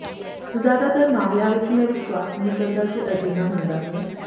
ਜ਼ਿਆਦਾਤਰ ਮਾਮਲਿਆਂ ਵਿੱਚ ਮੈਂ ਵਿਸ਼ਵਾਸ ਨਹੀਂ ਕਰਦਾ ਕਿ ਅਜਿਹਾ ਹੁੰਦਾ ਹੈ